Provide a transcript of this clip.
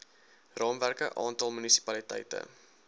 raamwerke aantal munisipaliteite